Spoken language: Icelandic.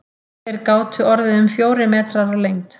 Þeir gátu orðið um fjórir metrar á lengd.